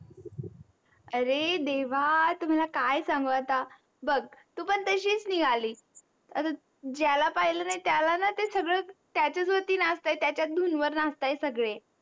अरे देवा तुम्हाला काय सांगाव आता बग तू पण तशीच निगाली, आता ज्याला पाहिल त्याला ते सगळे त्याच्या वरती नाचताय त्याच्या धुन वर नाचताय सगळे